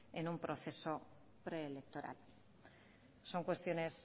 en un proceso preelectoral son cuestiones